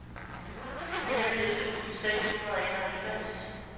niogfirs tusind seks hundrede og enoghalvfems